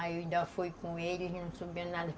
Aí eu ainda fui com eles e não souberam de nada.